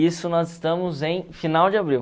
Isso nós estamos em final de abril.